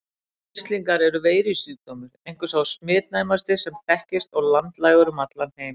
Mislingar eru veirusjúkdómur, einhver sá smitnæmasti sem þekkist og landlægur um allan heim.